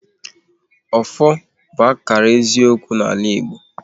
Ọfọ bụ akara eziokwu n'ala Igbo